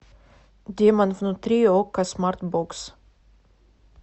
демон внутри окко смарт бокс